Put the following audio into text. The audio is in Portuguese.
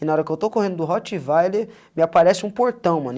E na hora que eu estou correndo do rottweiler, me aparece um portão, mano.